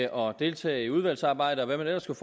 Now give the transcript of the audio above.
og deltage i udvalgsarbejde og hvad man ellers kunne